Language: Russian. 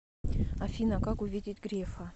афина как увидеть грефа